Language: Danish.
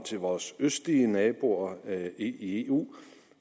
til vores østlige naboer i eu